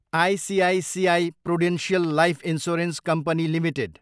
ICICI Prudential Life Insurance Company Ltd